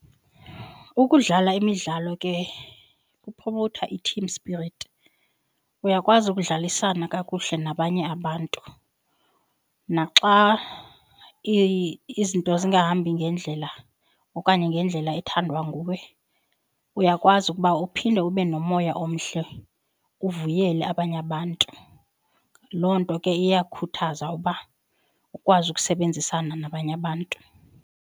Ukudlala imidlalo ke kuphophotha i-team spirit. Uyakwazi ukudlalisana kakuhle nabanye abantu naxa izinto zingahambi ngendlela okanye ngendlela ethandwa nguwe, uyakwazi ukuba uphinde ube nomoya omhle uvuyele abanye abantu. Loo nto ke iyakhuthaza uba ukwazi ukusebenzisana nabanye abantu.